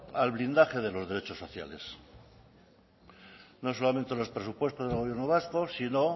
al blindaje de los derechos sociales no solamente los presupuestos del gobierno vasco sino